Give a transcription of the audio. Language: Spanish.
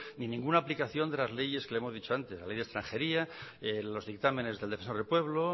ni ninguna aplicación de las leyes que le hemos dicho antes la ley de extranjería los dictámenes del defensor del pueblo